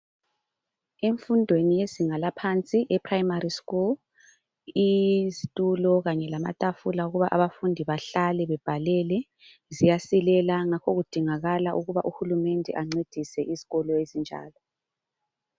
Emfundeni yezinga laphansi eprimary school izitula kanye lamatafula kuba abafundi bahlale babhalele ziyasilela ngakho kudingakala ukuba uhulumende ancedise izikolo ezinjalo